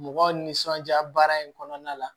Mɔgɔw nisɔndiya baara in kɔnɔna la